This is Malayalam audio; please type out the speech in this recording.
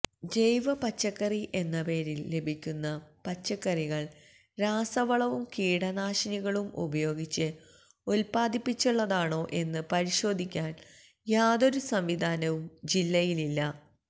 ജൈവ പച്ചക്കറി എന്ന പേരില് ലഭിക്കുന്ന പച്ചക്കറികള് രാസവളവും കീടനാശിനികളും ഉപയോഗിച്ച് ഉത്പാദിപ്പിച്ചതാണോ എന്ന് പരിശോധിക്കാന് യാതൊരു സംവിധാനവും ജില്ലയില്ല